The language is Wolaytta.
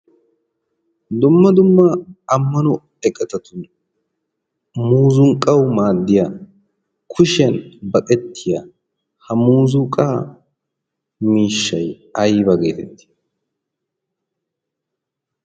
dumma dummaa ammano eqqatatunn muzunqqawu maaddiya kushiyan baqettiya ha muzunqaa miishshay ayba geetettii